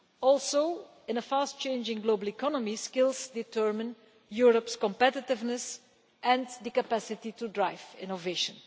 Also, in a fast changing global economy, skills determine Europe's competitiveness and the capacity to drive innovation.